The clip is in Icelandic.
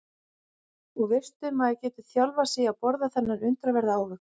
Og veistu maður getur þjálfað sig í að borða þennan undraverða ávöxt.